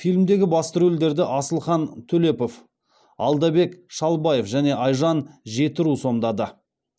фильмдегі басты рөлдерді асылхан төлепов алдабек шалбаев және айжан жетіру сомдады